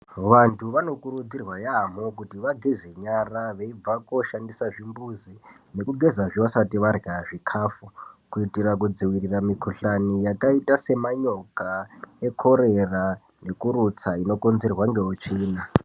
Vantu vanokurudzirwa yaamho kuti vageze nyara veibva kooshandise zvimbuzi , nekugezazve vasati varya zvikafu, kuitira kudzivirira mukhuhlani yakaita semanyoka ekhorera, nekurutsa inokonzerwa ngeutsvina.